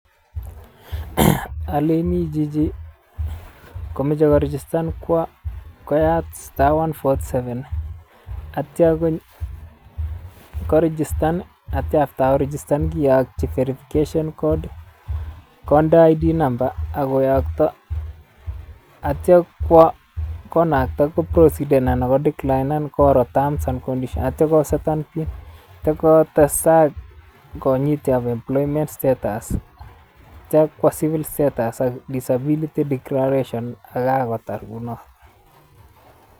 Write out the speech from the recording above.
Oleini chichi komoche korigistan kwo koyat star one forty seven ak kitio kon korigistan ak kitio after korigistan kiyokyin verification code konde id number ok koyokto ak kitio kwo konakta koprositen anan kodeklinen koro terms and conditions ak kitio koseten pin ak kotesak konyit employment status kitio kwo civil status ak disability declaration ak kokatar kounoton.